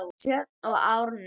Sjöfn og Árni.